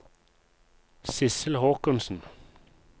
Sissel Håkonsen